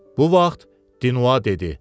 Bu vaxt Diniua dedi: